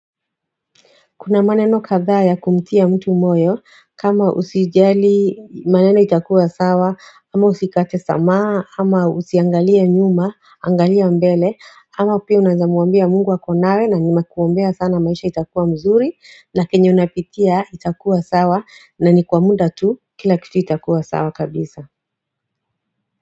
Kuna maneno kadhaa ya kumtia mtu moyo, kama usijali maneno itakuwa sawa, ama usikate tamaa, ama usiangalia nyuma, angalia mbele, ama pia unazamuambia mungu ako nawe na nimekuombea sana maisha itakuwa mzuri, na kenye unapitia itakuwa sawa, na ni kwa muda tu, kila kitu itakuwa sawa kabisa.